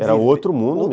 Era outro mundo